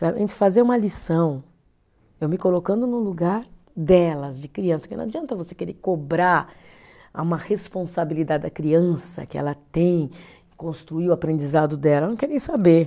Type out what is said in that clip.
Fazer uma lição, eu me colocando no lugar delas, de criança, porque não adianta você querer cobrar a uma responsabilidade da criança que ela tem, construir o aprendizado dela, ela não quer nem saber.